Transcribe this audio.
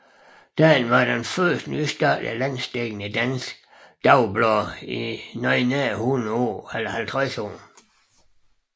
Dagen var det første nystartede landsdækkende danske dagblad i noget nær 50 år